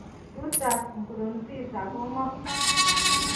Reuters Nkurunziza ko ng'o?